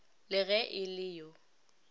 le ge e le yo